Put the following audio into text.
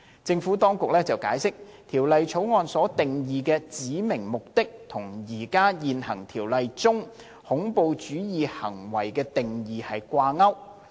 政府當局解釋，《條例草案》所定義的"指明目的"與現行《條例》中"恐怖主義行為"的定義掛鈎。